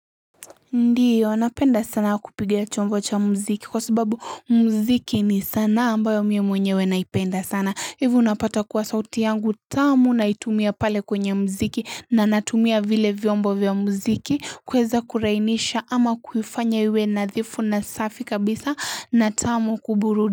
Ndio napenda sana kupiga chombo cha mziki. Kwa sababu mziki ni sanaa ambayo mimi mwenyewe naipenda sana. Hivyo unapata kuwa sauti yangu tamu naitumia pale kwenye mziki na natumia vile vyombo vya mziki kueza kurainisha ama kuifanya iwe nadhifu na safi kabisa. Na tamu kuburu.